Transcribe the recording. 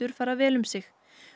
fara vel um sig